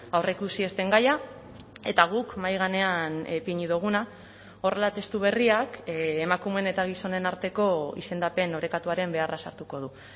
aurreikusi ez den gaia eta guk mahai gainean ipini duguna horrela testu berriak emakumeen eta gizonen arteko izendapen orekatuaren beharra sartuko du